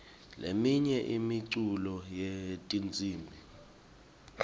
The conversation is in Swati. leminye imiculo yetinsimbi